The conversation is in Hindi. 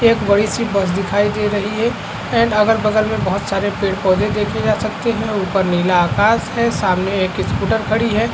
एक बड़ी सी बस दिखाई दे रही है एण्ड अगल-बगल मे बहोत सारे पेड़-पोधे देखे जा सकते है ऊपर नीला आकाश है सामने एक स्कुटर खड़ी है।